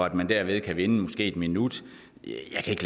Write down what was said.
at man derved kan vinde måske en minut